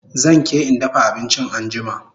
Zan ke in dafa abinchin anjima